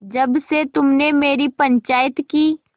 जब से तुमने मेरी पंचायत की